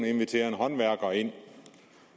inviterer en håndværker ind